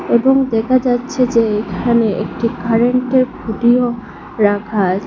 এবং দেখা যাচ্ছে যে এখানে একটি কারেন্টের খুঁটিও রাখা আচ--